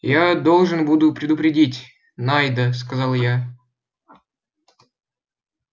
я должен буду предупредить найда сказал я